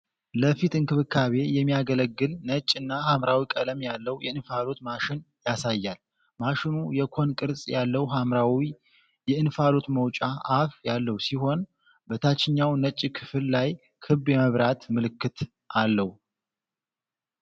ለፊት እንክብካቤ የሚያገለግል ነጭ እና ሐምራዊ ቀለም ያለው የእንፋሎት ማሽን ያሳያል። ማሽኑ የኮን ቅርጽ ያለው ሐምራዊ የእንፋሎት መውጫ አፍ ያለው ሲሆን፤ በታችኛው ነጭ ክፍል ላይ ክብ የመብራት ምልክት አለው።